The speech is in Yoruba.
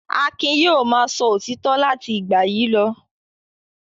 Akin yóò máa sọ òtítọ́ láti ìgbà yìí lọ.